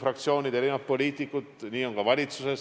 fraktsioonid ja erinevad poliitikud, nii on ka valitsuses.